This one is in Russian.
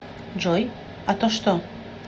джой а то что